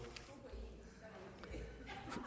det